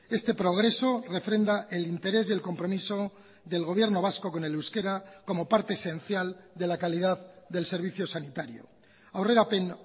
este progreso refrenda el interés y el compromiso del gobierno vasco con el euskera como parte esencial de la calidad del servicio sanitario aurrerapen